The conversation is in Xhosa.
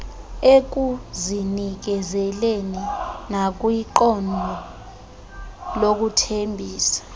ekuzinikezeleni nakwiqondo lokuthembisa